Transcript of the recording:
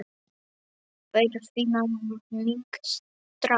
Þeir finna mig strax.